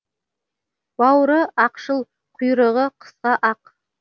бауыры ақшыл құйрығы қысқа ақ